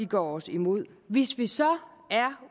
går os imod hvis vi så er